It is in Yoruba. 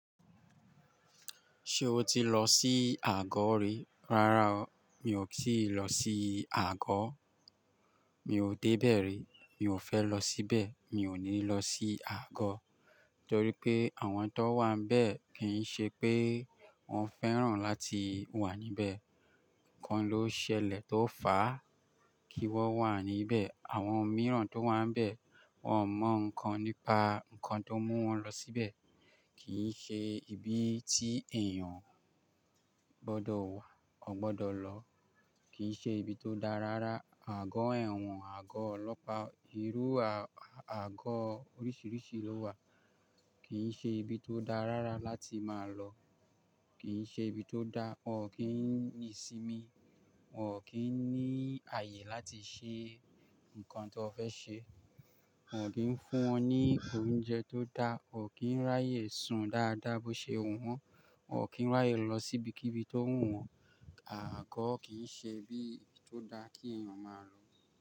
Ṣé o ti lọ sí àgó rí? Rárá o, mi ò kí lọ sí àgó. Mi ò dé bẹ̀ rí, mi ò fẹ́ lọ síbẹ̀, mi ò ní lọ sí àgó. Nítorí pé àwọn tó wà níbẹ̀ kì í ṣe pé wọ́n fẹ́ràn láti wà níbẹ̀. Ǹkan ló ṣẹlẹ̀ tó fà á kí wọ́n wà níbẹ̀. Àwọn mìíràn tó wà níbẹ̀, wọ́n mọ̀ ǹkan nípa ǹkan tó mú wọn lọ síbẹ̀. Kì í ṣe ibi tí èèyàn gbọ́dọ̀ wà, o gbọ́dọ̀ lọ. Kì í ṣe ibi tó dá rárá. Àgó ẹ̀wọ̀n, àgó ọlọ́pàá, irú àgó oríṣìíríṣìí ló wà. Kì í ṣe ibi tó dá rárá láti máa lọ. Kì í ṣe ibi tó dá, wọn ò kí ń ní sinmi, wọn ò kí ń ní ààyè láti ṣe ǹkan tó fẹ́ ṣe. Wọn ò kí ń fún wọn ní oúnjẹ tó dá, wòn kí ń ráyè sùn dáadáa bó ṣe wọ́n, won kí ń ráyè lọ sí ibikíbi tó wù wọ́n. Àgó kì í ṣe ibi tó dá kí èèyàn máa lọ.